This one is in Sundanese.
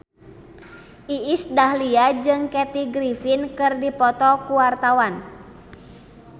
Iis Dahlia jeung Kathy Griffin keur dipoto ku wartawan